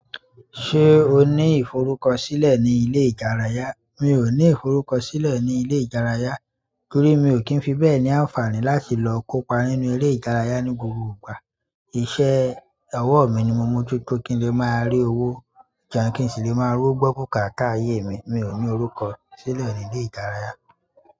Ṣé o ní ìforúkọsílẹ̀ ní ilé ìdárayá mi ò ní ìforúko sílè ní ilé ìdárayá torí mi ò kín fi bẹ́ẹ̀ ní ànfàni láti lo kó pa nínú eré ìdárayá ní gbogbo ìgbà. Iṣẹ́ ọwọ́ mi ni mo mó jú tó kí n le máa rí owó jẹun kí n sì le máa rí owó gbọ́ bùkátà ayé mi. Mi ò ní orúkọ sílẹ̀ ní ilé ìdárayá.